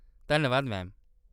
धन्नवाद, मैम।